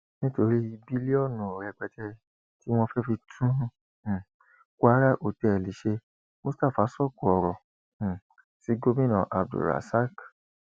nítorí bílíọnù rẹpẹtẹ tí wọn fẹẹ fi tún um kwara hotel ṣe mustapha sóko ọrọ um sí gomina abdulrasaq